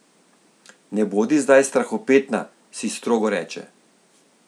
Ne bodi zdaj strahopetna, si strogo reče.